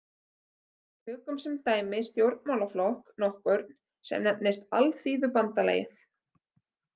Tökum sem dæmi stjórnmálaflokk nokkurn sem nefnist Alþýðubandalagið.